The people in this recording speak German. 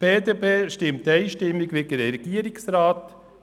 Die BDP stimmt einstimmig wie der Regierungsrat: